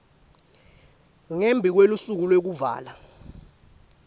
ngembi kwelusuku lwekuvala